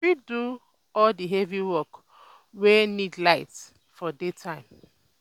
you fit do all di heavy work wey need light for day time